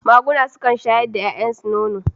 Maguna sukan shayar da yayansu nono.